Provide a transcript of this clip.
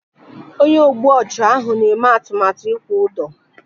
Onye ogbu ọchụ ahụ na-eme atụmatụ ịkwụ ụdọ